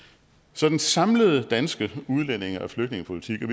så den samlede danske udlændinge og flygtningepolitik